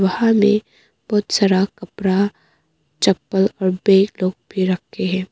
वहाँ में बहुत सारा कपड़ा चप्पल और बे टॉप भी रखे हैं।